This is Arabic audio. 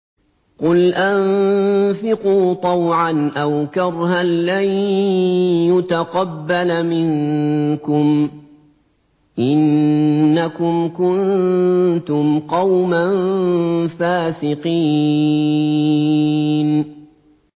قُلْ أَنفِقُوا طَوْعًا أَوْ كَرْهًا لَّن يُتَقَبَّلَ مِنكُمْ ۖ إِنَّكُمْ كُنتُمْ قَوْمًا فَاسِقِينَ